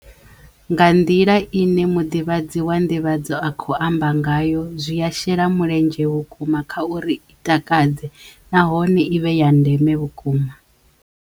Nga nḓila i ne muḓivhadzi wa nḓivhadzo a kho amba ngayo zwiya shela muledzhe vhukuma kha uri i takadze nahone i vhe ya ndeme vhukuma.